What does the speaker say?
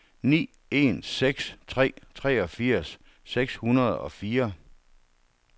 ni en seks tre treogfirs seks hundrede og fire